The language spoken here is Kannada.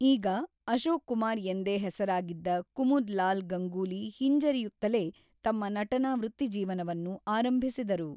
ಈಗ ಅಶೋಕ್ ಕುಮಾರ್ ಎಂದೇ ಹೆಸರಾಗಿದ್ದ ಕುಮುದ್‌ಲಾಲ್ ಗಂಗೂಲಿ ಹಿಂಜರಿಯುತ್ತಲೇ ತಮ್ಮ ನಟನಾ ವೃತ್ತಿಜೀವನವನ್ನು ಆರಂಭಿಸಿದರು.